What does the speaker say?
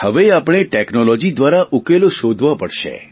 હવે આપણે ટેકનોલોજી દ્વારા ઉકેલો શોધવા પડશે